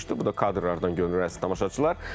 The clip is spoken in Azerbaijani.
Bu da kadrlardan görünür, əziz tamaşaçılar.